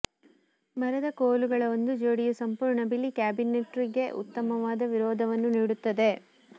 ಮರದ ಕೋಲುಗಳ ಒಂದು ಜೋಡಿಯು ಸಂಪೂರ್ಣ ಬಿಳಿ ಕ್ಯಾಬಿನೆಟ್ರಿಗೆ ಉತ್ತಮವಾದ ವಿರೋಧವನ್ನು ನೀಡುತ್ತದೆ